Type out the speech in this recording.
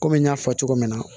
Kɔmi n y'a fɔ cogo min na